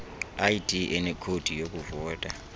id enekhodi yokuvota